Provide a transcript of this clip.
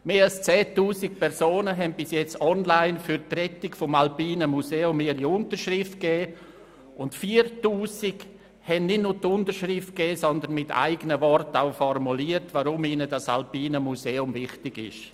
Mehr als 10 000 Personen haben bisher online für die Rettung des Alpinen Museums ihre Unterschrift gegeben, und 4000 haben nicht nur unterschrieben, sondern auch in eigenen Worten formuliert, weshalb ihnen das Alpine Museum wichtig ist.